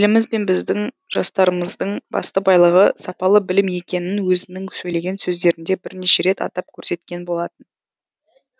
еліміз бен біздің жастарымыздың басты байлығы сапалы білім екенін өзінің сөйлеген сөздерінде бірнеше рет атап көрсеткен болатын